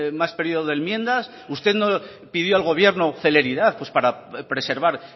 más periodo de enmiendas usted no pidió al gobierno celeridad para preservar